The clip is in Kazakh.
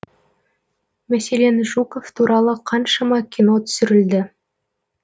мәселен жуков туралы қаншама кино түсірілді